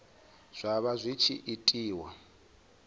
zwa vha zwi tshi itiwa